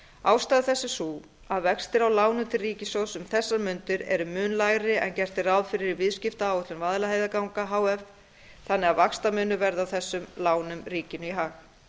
ástæða þess er sú að vextir á lánum til ríkissjóðs um þessar mundir eru mun lægri en gert er ráð fyrir í viðskiptaáætlun vaðlaheiðarganga h f þannig að vaxtamunur verði á þessum lánum ríkinu í hag